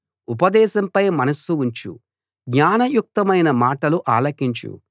ఉపదేశంపై మనస్సు ఉంచు జ్ఞానయుక్తమైన మాటలు ఆలకించు